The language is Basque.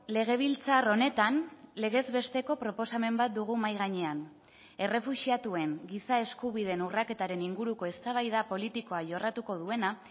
legebiltzar honetan legez besteko proposamen bat dugu mahai gainean errefuxiatuen giza eskubideen urraketaren inguruko eztabaida politikoa jorratuko duena